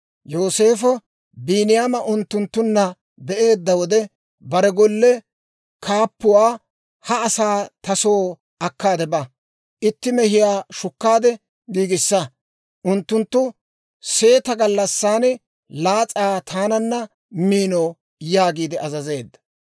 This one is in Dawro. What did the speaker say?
Yooseefo Biiniyaama unttunttunna be'eedda wode, bare golle kaappuwaa, «He asaa ta soo akkaade ba; itti mehiyaa shukkaade giigissa; unttunttu seeta gallassan laas'aa taananna miino» yaagiide azazeedda.